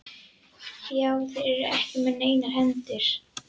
Já, þeir eru ekki með neinar hendur.